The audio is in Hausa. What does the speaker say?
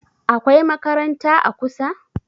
akwai makaranta a kusa?